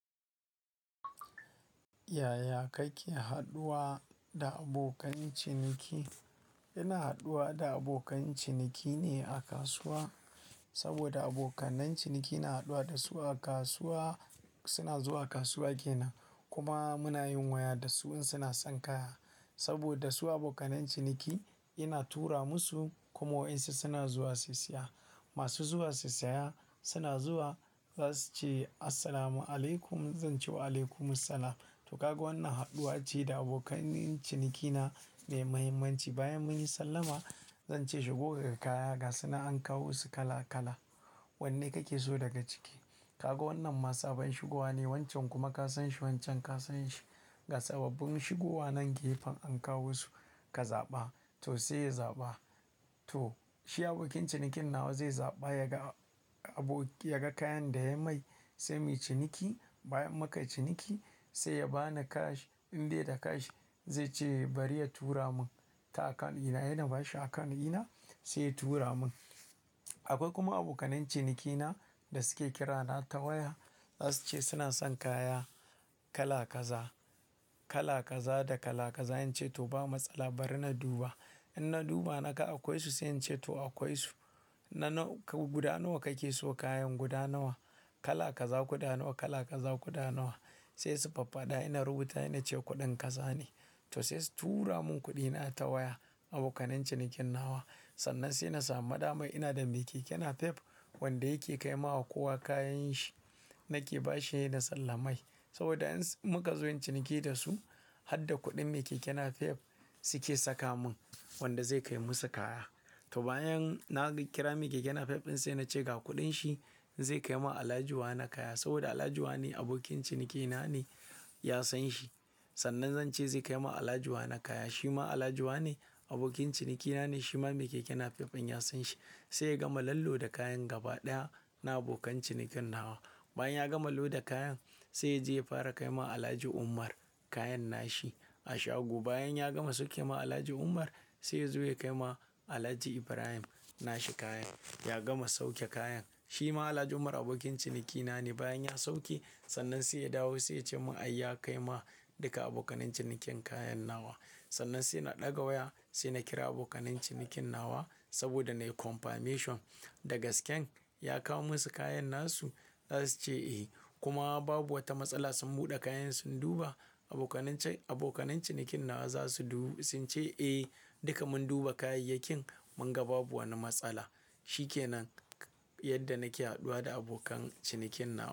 Yaya kake haɗuwa da abokan ciniki? Ina haɗuwa da abokan ciniki ne a kasuwa. Saboda abokan ciniki ina haɗuwa da su a kasuwa, suna zuwa kasuwa kenan. Kuma muna yin waya da su in suna son kaya. Saboda su abokanan ciniki ina tura musu kuma waɗansu suna zuwa su siya. Masu zuwa su siya suna zuwa za su ce "Assalamu alaikum", zan ce wa "Alaikumussalam". To, kaga wannan haɗuwa ce da abokanan cinikina mai muhimmanci. Bayan mun yi sallama, zan ce shi "kaga kaya ga suna an kawo su kala kala. Wanne kake so daga ciki?" Kaga wannan ma saɓan shigowa ne, wancan kuma ka san shi, wancan ka san shi. Ga sababbin shigowa nan gefen an kawo su, ka zaɓa. To, sai ya zaɓa. To, shi abokin cinikin nawa zai zaɓa ya ga abok-- ya ga kayan da ya mai, sai mu yi ciniki bayan muka ciniki sai ya bani cash. In dai da cash zai ce bari ya tura mun ta akawun ina, he ina bashi akawun ina sai ya tura mun. Akwai kuma abokan cinikina da suke kira na ta waya za su ce suna son kaya kala kaza, kala kaza da kala kaza. In ce to ba matsala bari na duba. In na duba naka akwai su sai in ce to akwai su. Na nawa-- guda nawa kake so kayan guda nawa? Kala kaza guda nawa, kala kaza guda nawa? Sai su faffada ina rubuta ina ce kuɗin kaza ne. To sai su tura mun kuɗi na ta waya abokanan cinikin nawa. Sannan sai na samu da mai ina da mai keke napep wanda yake kai ma wa kowa kayan shi. Na ke bashi na sallamai saboda in s muka zo ciniki da su har da kuɗin mai keke napep suke saka mun wanda zai kai musu kaya. To, bayan na kira mai keke napep in sai na ce ga kuɗin shi zai kai ma Alhaji wane kaya. Saboda Alhaji wane abokin cinikina ne ya san shi. Sannan zan ce zai kai ma Alhaji wane kaya. Shi ma Alhaji wane abokin cinikina ne, shi ma mai keke napep ɗin ya san shi. Sai ya gama lallo da kayan gaba ɗaya na abokan cinikin nawa. Bayan ya gama loda kayan sai ya je ya fara kai ma Alhaji Umar kayan nashi a shago. Bayan ya gama sauke ma Alhaji Umar sai ya zo ya kai ma Alhaji Ibrahim nashi kayan. Ya gama sauke kayan. Shi ma Alhaji Umar abokin cinikina ne. Bayan ya sauke sannan sai ya dawo sai ya ce mun ai ya kai ma duka abokanan cinikin kayan nawa. Sannan sai na ɗaga waya sai na kira abokan cinikin nawa saboda na yi confirmation da gasken ya kawo musu kayan nasu. Za su ce eh kuma babu wata matsala sun buɗe kayansu sun duba abokanan cin-- abokanan cinikin nawa za su du-- sun ce eh duka mun duba kayayyakin mun ga babu wani matsala. Shi ke nan yadda nake haɗuwa da abokan cinikin na.